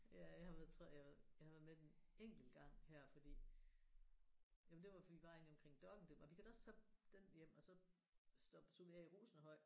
Ja jeg har været tror jeg har været jeg har været med den enkelt gang her fordi jamen det var fordi vi var inde omkring Dok1 det og vi kan da også tage den hjem og så stoppede stod vi af i Rosenhøj